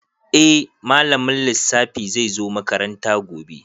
Eh malamin lissafi zai zo makaranta gobe.